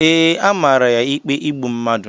Ee, a mara ya ikpe igbu mmadụ